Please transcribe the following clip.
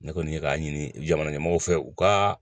Ne kɔni ye k'a ɲini jamana ɲɛmɔgɔw fɛ u ka